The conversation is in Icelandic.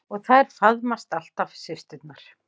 Og þær faðmast alltaf systurnar.